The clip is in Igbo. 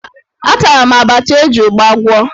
Atara m abacha e ji ụgba gwọ.